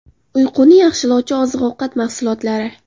Uyquni yaxshilovchi oziq-ovqat mahsulotlari.